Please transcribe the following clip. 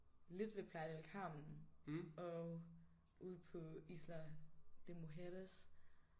Lidt ved Playa del Carmen og ude på Isla de Mujeres